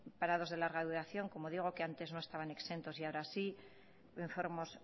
parados de larga duración como digo que antes no estaban exentos y ahora sí enfermos